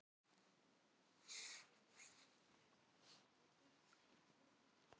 Smakkað og kryddið meira ef þurfa þykir.